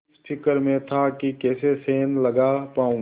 इस फिक्र में था कि कैसे सेंध लगा पाऊँ